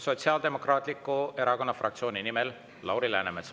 Sotsiaaldemokraatliku Erakonna fraktsiooni nimel Lauri Läänemets.